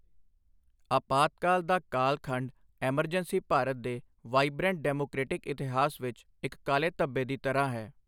ਆਪਾਤਕਾਲ ਦਾ ਕਾਲਖੰਡ ਐਮਰਜੈਂਸੀ ਭਾਰਤ ਦੇ ਵਾਇਬ੍ਰੈਂਟ ਡੈਮੋਕ੍ਰੇਟਿਕ ਇਤਿਹਾਸ ਵਿੱਚ ਇੱਕ ਕਾਲੇ ਧਬੇ ਦੀ ਤਰ੍ਹਾਂ ਹੈ।